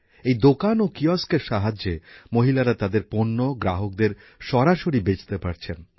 এই দোকান ও কিয়স্কের সাহায্যে মহিলারা তাদের পণ্য গ্রাহকদের সরাসরি বেচতে পারছেন